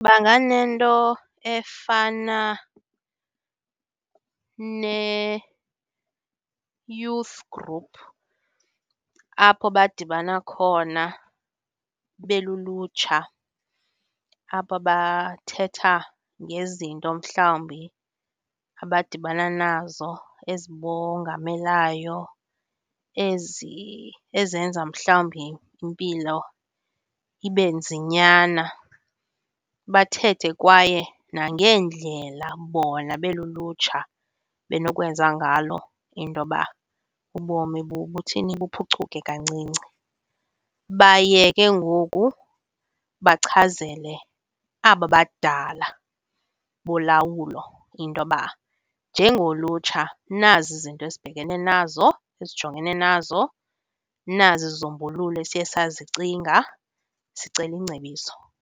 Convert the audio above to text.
Banganento efana ne-youth group apho badibana khona belulutsha, apho bathetha ngezinto mhlawumbi abadibana nazo ezibongamelayo, ezenza mhlawumbi impilo ibe nzinyana. Bathethe kwaye nangeendlela bona belulutsha benokwenza ngalo intoba ubomi buthini, buphucuke kancinci. Baye ke ngoku bachazele aba badala bolawulo intoba njengolutsha nazi izinto esibhekene nazo, esijongene nazo, nazi izisombululo esiye sazicinga, sicela ingcebiso.